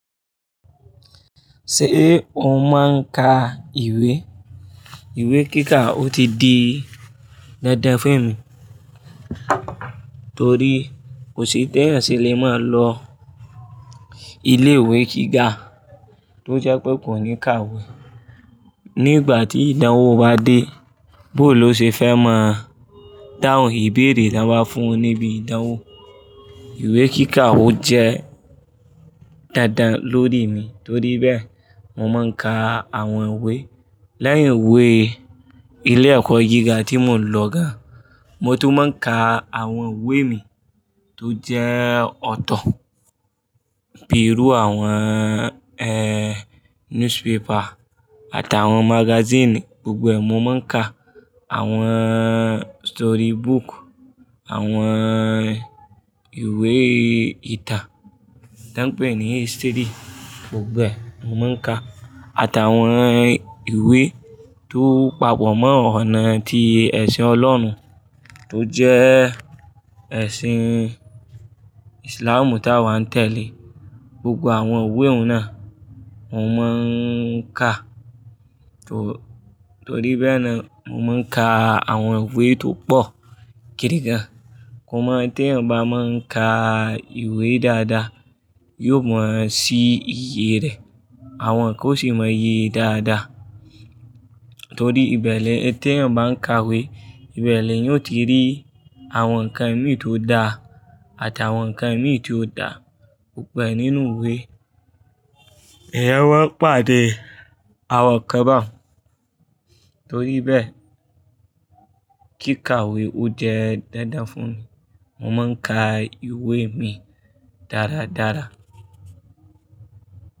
Ṣé o máa ń ka ìwé? Ìwé kíkà ó ti di dandan fún emi torí kò sí tẹ́ẹ̀ ẹyan ṣe lè máa lọ ilé ìwé gíga tó jẹ́ pé kò ní ka ìwé. Nígbà tí ìdánwò bá dé, bó ló ṣe fẹ́ máa dáhùn ìbéèrè tí wọ́n bá fún ọ níbi ìdánwò? Ìwé kíkà ó je dandan lórí mi torí bẹ́ẹ̀, mo máa ń ka àwọn ìwé lẹ́yìn ìwé ilé ẹ̀kọ́ gíga tí mo lọ gan. Mo tún máa ń ka àwọn ìwé mi tó jẹ́ ọ̀tọ̀ bíi irú àwọn, ẹ, newspaper àtàwọn magazine, gbogbo ẹ̀, mo mouń ka. Àwọn story book, àwọn ìwé ìtàn tan pè ní history, gbogbo ẹ̀, mo moun ka àtàwọn ìwé tó papọ̀ mọ́ ọ̀nà tí ẹ̀sìn Ọlọ́run tó jẹ́ ẹ̀sìn Islamú tí àwa ń tẹ̀lé. Gbogbo àwọn ìwé òun náà mo moun ka. Torí bẹ́ẹ̀ ni mo mouń ka àwọn ìwé tó pọ̀ gidigan. Kò mọ̀ pé tí ẹyan bá mouń ka ìwé dáadáa, yóò mọ̀ sí iye rẹ̀. Àwọn kan ó sì moun yẹ dáadáa torí ìbeni tí ẹyan bá ń ka'wé, ìbẹ̀ni ẹyan òti rí. Àwọn ǹkan imí tó dá àtàwọn ǹkan imí tí ó dà, gbogbo nínú ìwé. Eyan moun pàdé àwọn kanbaun. Torí bẹ́ẹ̀, kíkàwé ó jẹ́ dandan fún mi. Mo máa ń ka ìwé mi dáradára.